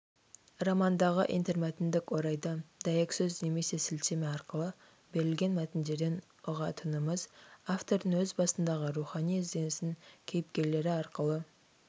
романдағы интермәтіндік орайда дәйексөз немесе сілтеме арқылы берілген мәтіндерден ұғатынымыз автордың өз басындағы рухани ізденісін кейіпкерлері арқылы